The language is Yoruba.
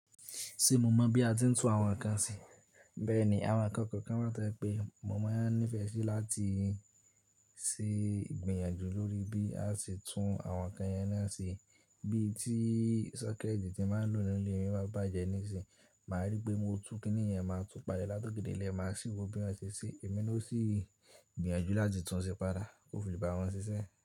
Ṣé mo mọ̀ bí a ti ń tún àwọn ǹkan ṣe? Bẹ́ẹ̀ ni, àwọn ǹkan kọ̀ọ̀kan to jé pé mo mọ̀ ẹ ní ìfẹ́ sí láti ṣe ìgbìyànjú lórí bí a ṣe tún àwọn ǹkan yẹn náà ṣe. Bí tí socket tí màá ń lò nínú ilé mi bá bàjẹ́ ní ìsìn, màá rí pé mo ti tún kìnnì yẹn máa tún pàlẹ́ láti ọ̀kè délẹ̀, màá máa ṣíwọ́ bí wọ́n ṣe ṣí, èmi ló sì gbìyànjú láti tún ṣe padà. Ko fi le bá wọn ṣiṣẹ́.